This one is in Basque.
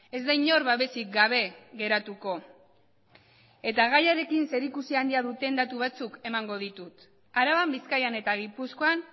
ez da inor babesik gabe geratuko eta gaiarekin zerikusi handia duten datu batzuk emango ditut araban bizkaian eta gipuzkoan